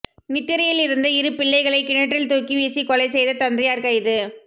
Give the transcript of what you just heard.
நித்திரையில் இருந்த இரு பிள்ளைகளை கிணற்றில் தூக்கி வீசி கொலை செய்த தந்தையார் கைது